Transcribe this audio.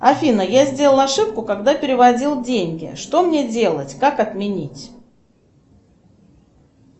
афина я сделала ошибку когда переводила деньги что мне делать как отменить